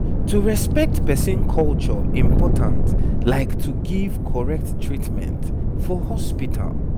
to respect person culture important like to give correct treatment for hospital